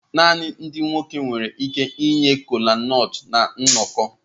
Naanị ndị nwoke nwere ike inye kolanut na nnọkọ.